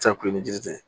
San kulo ni jiritigɛ